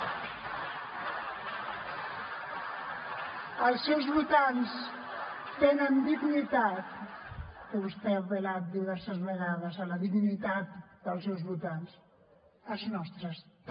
els seus votants tenen dignitat que vostè ha apel·lat diverses vegades a la dignitat dels seus votants els nostres també